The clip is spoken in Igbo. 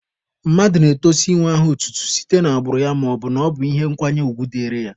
Mmadụ na-etosi inwe aha otutu site n'agbụrụ ya maọbụ na ọ bụ ihe nkwanye ugwu dịrị ya.